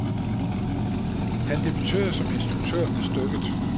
Han debuterer som instruktør med stykket.